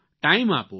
time આપો